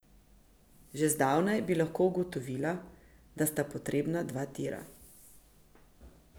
Že zdavnaj bi lahko ugotovila, da sta potrebna dva tira.